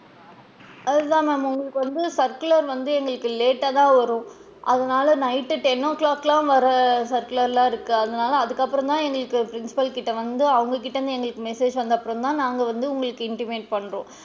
அது தான் ma'am உங்களுக்கு வந்து circular வந்து எங்களுக்கு late டா தான் வரும் அதனால night ten o clock லா வர circular லலா இருக்கு அதனால அதுக்கு அப்பறம் தான் எங்களுக்கு principal கிட்ட வந்து அவுங்க கிட்ட இருந்து எங்களுக்கு message வந்ததுக்கு அப்பறம் தான் நாங் வந்து உங்களுக்கு intimate பண்றோம்.